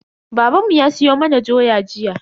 Babanmu ya siyo mana doya jiya.